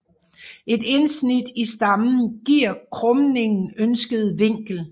Et indsnit i stammen giver krumningen ønsket vinkel